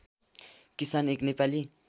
किसान एक नेपाली